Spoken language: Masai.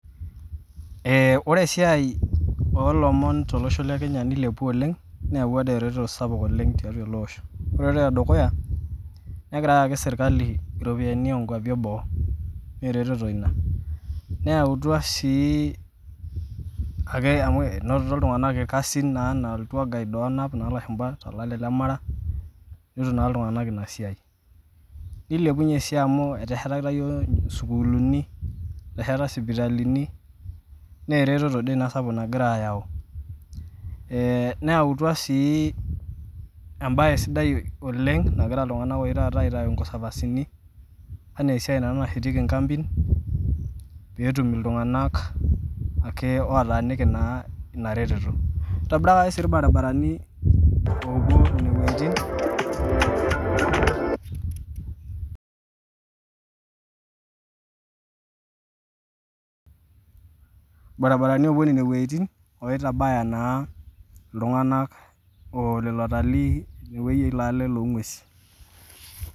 Ee ore esiai oo lomon tolosho le kenya nilepua oleng' neewua dii eretoto sapuk oleng' tiatua ele osho. Ore eretoto e dukuya, negira ayaki serkali ropiani oo nkuapi e boo nee eretoto ina. Neyautua sii ake amu inotito iltung'anak irkasin naa enaa iltour guide oonap naa ilashumba to lale le mara, inoto naa iltung'anak ina siai. Nilepunye sii amu eteshetakitia iyiok isukuuluni, etesheta sipitalini nee eretoto dii ina sapuk naagira ayau. Ee neutua sii embaye sidai oleng' nagira iltung'anak oshi taata aitaa inconservancini enaa esiai naa nashetieki nkampin peetum iltung'anak ake otaaniki naa ina retoto. Itobirakaki sii irbaribarani loopuo nene wueitin irbaribarani oopuo nene wueitin oitabaya naa iltung'anak oo lelo ewuei ilo ale loo ng'uesin.